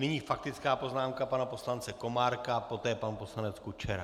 Nyní faktická poznámka pana poslance Komárka, poté pan poslanec Kučera.